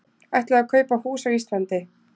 Ætlaði að kaupa hús á Íslandi